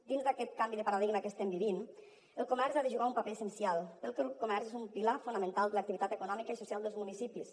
dins d’aquest canvi de paradigma que estem vivint el comerç hi ha de jugar un paper essencial perquè el comerç és un pilar fonamental de l’activitat econòmica i social dels municipis